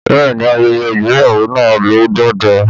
Bẹ́ẹ̀ni, ayẹyẹ ìgbéyàwó na lọ dáadáa